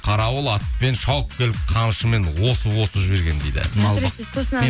қарауыл атпен шауып келіп қамшымен осып осып жіберген дейді